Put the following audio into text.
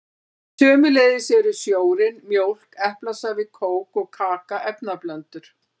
Sömuleiðis eru sjórinn, mjólk, eplasafi, kók og kaka efnablöndur.